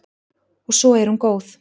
Og svo er hún góð.